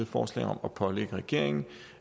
forslag om at pålægge regeringen